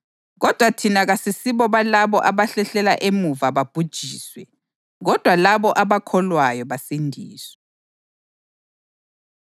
Kuyadingeka ukuba libekezele ukuze kuthi lapho seliyenzile intando kaNkulunkulu, lamukele lokho akuthembisayo.